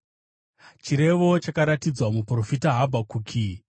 Chirevo chakaratidzwa muprofita Habhakuki.